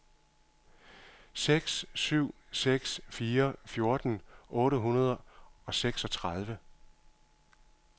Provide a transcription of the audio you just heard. seks syv seks fire fjorten otte hundrede og seksogtredive